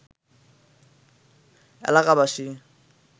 এলাকাবাসী